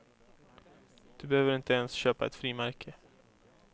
Du behöver inte ens köpa ett frimärke.